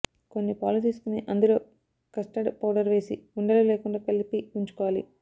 కొన్ని పాలు తీసుకుని అందులో కస్తర్డ్ పౌడర్ వేసి ఉండలు లేకుండా కలిపి ఉంచుకోవాలి